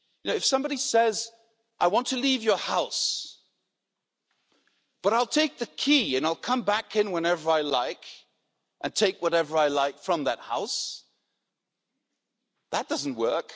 if somebody says I want to leave your house but I'll take the key, and I'll come back in whenever I like, and take whatever I like from that house', that doesn't work.